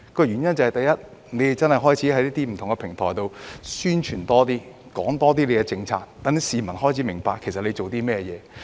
第一個原因是，政府開始透過不同平台進行更多宣傳，並多講解政府的政策，讓市民開始明白政府正在做甚麼。